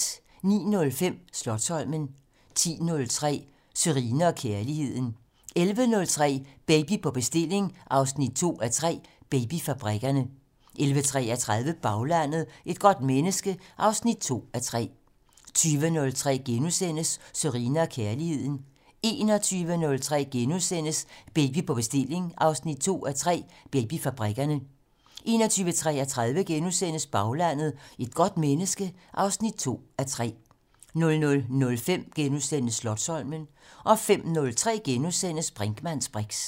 09:05: Slotsholmen 10:03: Sørine & Kærligheden 11:03: Baby på bestilling 2:3: Babyfabrikkerne 11:33: Baglandet: Et godt menneske 2:3 20:03: Sørine & Kærligheden * 21:03: Baby på bestilling 2:3: Babyfabrikkerne * 21:33: Baglandet: Et godt menneske 2:3 * 00:05: Slotsholmen * 05:03: Brinkmanns briks *